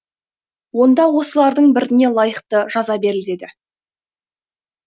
онда осылардың біріне лайықты жаза берілдеді